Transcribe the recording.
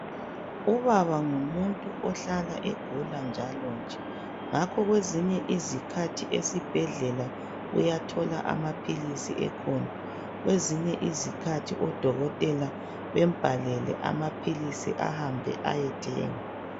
Ubaba ngumuntu ohlala egula njalonje. Ngakho kwezinye izikhathi esibhedlela uyathola amaphilisi ekhona, kwezinye izikhathi odokotela bembhalele amaphilisi ahambe ayethenga.